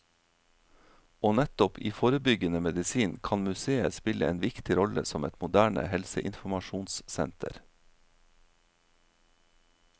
Og nettopp i forebyggende medisin kan museet spille en viktig rolle som et moderne helseinformasjonssenter.